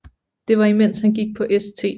Det var imens han gik på St